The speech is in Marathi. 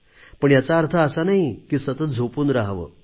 पण याचा अर्थ असा नाही की सतत झोपून रहावे